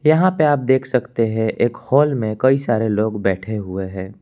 यहां पे आप देख सकते हैं एक हाल में कई सारे लोग बैठे हुए है।